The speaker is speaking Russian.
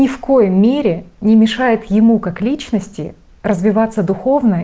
ни в коей мере не мешает ему как личности развиваться духовно